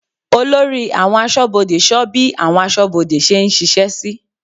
Olórí àwọn aṣọ́bodè sọ bí àwọn aṣọ́bodè ṣe ń ṣiṣẹ́ sí.